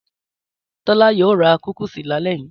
Tọ́lá yóò ra kúkísì lálẹ́ yìí.